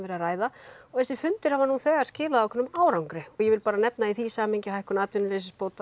er að ræða og þessir fundir hafa þegar skilað einhverjum árangri og ég vil bara nefna í því samhengi hækkun atvinnuleysisbóta